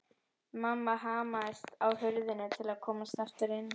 Mamma hamaðist á hurðinni til að komast aftur inn.